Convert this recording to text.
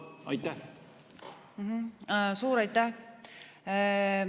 Suur aitäh!